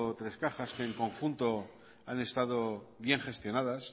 tres cajas que en conjunto han estado bien gestionadas